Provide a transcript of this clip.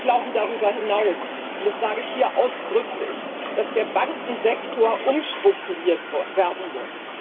Wir glauben darüber hinaus und das sage ich hier ausdrücklich dass der Bankensektor umstrukturiert werden muss.